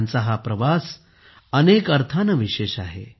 त्यांचा हा प्रवास अनेक अर्थाने विशेष आहे